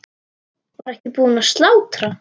Var ekki búið að slátra?